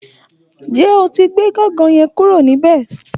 Ǹjé o ti gbé gangan yẹn kúrò níbẹ̀?